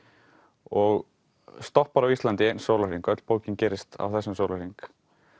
og stoppar á Íslandi í einn sólarhring öll bókin gerist á þessum sólarhring